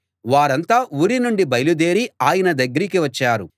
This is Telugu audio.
వారంతా ఊరి నుండి బయలు దేరి ఆయన దగ్గరికి వచ్చారు